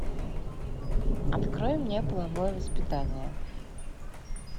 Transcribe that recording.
открой мне половое воспитание